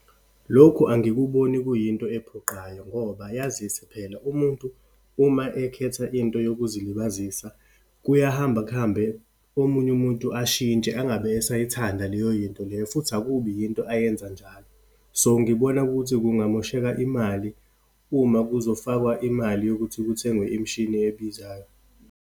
Lokhu angikuboni kuyinto ephoqayo, ngoba yazise phela, umuntu uma ekhetha into yokuzilibazisa kuyahamba kuhambe omunye umuntu ashintshe, angabe esayithanda leyo yinto leyo, futhi akubi yinto ayenza njalo. So, ngibona ukuthi kungamosheka imali uma kuzofakwa imali yokuthi kuthengwe imishini ebizayo.